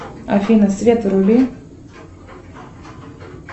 афина свет вруби